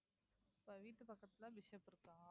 இப்ப வீட்டு பக்கத்துல பிஷப் இருக்கா